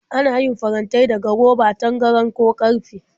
Ana yin farantai daga roba, tangaran, ko ƙarfe.